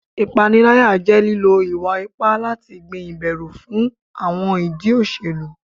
Ipanilaya jẹ lilo iwa-ipa lati gbin iberu fun awọn idi oselu